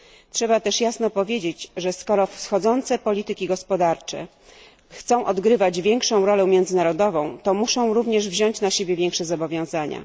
Trzeba też jasno powiedzieć, że skoro wschodzące polityki gospodarcze chcą odgrywać większą rolę międzynarodową, to muszą również wziąć na siebie większe zobowiązania.